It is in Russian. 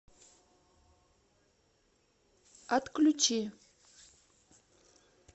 отключи